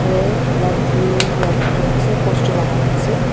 laundry lab likhikaena ase poster lakaina ase.